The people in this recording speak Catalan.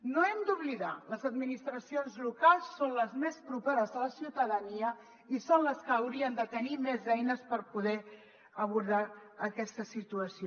no ho hem d’oblidar les administracions locals són les més properes a la ciutadania i són les que haurien de tenir més eines per poder abordar aquesta situació